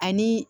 Ani